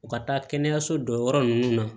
U ka taa kɛnɛyaso dɔ yɔrɔ ninnu na